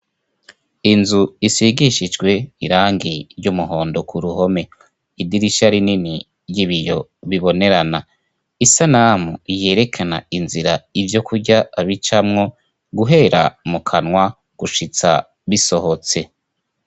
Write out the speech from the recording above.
Inzu isigishijwe irangi ry'umuhondo ku ruhome. Idirisha rinini ry'ibiyo bibonerana, isanamu yerekana inzira ivyokurya bicamwo, guhera mu kanwa gushitsa bisohotse.